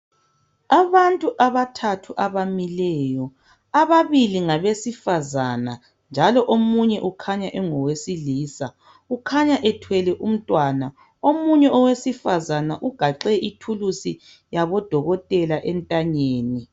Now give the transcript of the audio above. Abantu abathathu abamileyo, ababili ngabesifazana njalo omunye ukhanya engowesilisa. Ukhanya ethwele umntwana, omunye owesifazane ugaxe ithulusi yabodotela entanyeni.